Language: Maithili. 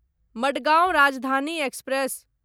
मडगाउँ राजधानी एक्सप्रेस